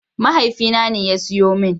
Mahaifina ne ya siyo min.